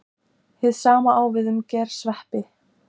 Hið sama á við um gersveppi.